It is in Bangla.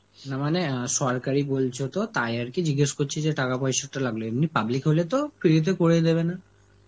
না মানে আ সরকারি বলছো তো, তাই আর কি জিজ্ঞেস করছি যে টাকা পয়সাটা লাগলো, এমনি public হলে তো free তে করে দেবে না.